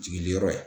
Jigini yɔrɔ ye